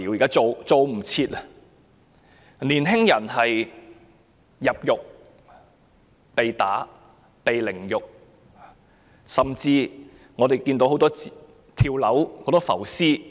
有年輕人在入獄後被毆打凌辱，甚至出現眾多"跳樓案"、"浮屍案"。